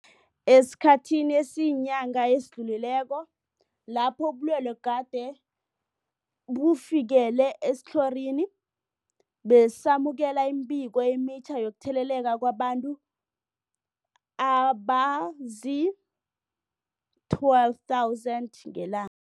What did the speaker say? Esikhathini esiyinyanga esidlulileko lapho ubulwele gade bufikelele esitlhorini, besamukela imibiko emitjha yokutheleleka kwabantu abazii-12 000 ngelan